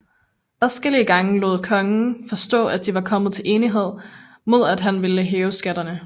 Adskillige gange lod kongen forstå at de var kommet til enighed mod at han ville hæve skatterne